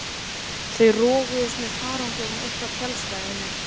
Þau roguðust með farangurinn upp að tjaldstæðinu.